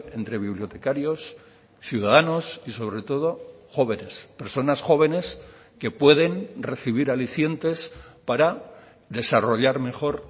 entre bibliotecarios ciudadanos y sobre todo jóvenes personas jóvenes que pueden recibir alicientes para desarrollar mejor